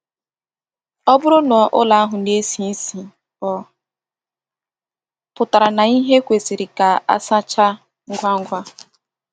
Ọ bụrụ na ụlọ ahụ na-esi isi, ọ pụtara na ihe kwesịrị ka a sachaa ngwa ngwa.